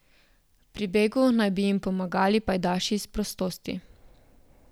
Pri begu naj bi jim pomagali pajdaši s prostosti.